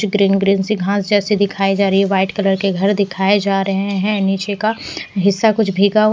green green सी घांस जैसी दिखाई जा रही है वाइट कलर के घर दिखाए जा रहे हैं नीचे का हिस्सा कुछ भीगा --